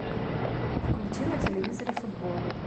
включи на телевизоре футбол